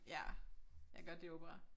Ja jeg kan godt lide opera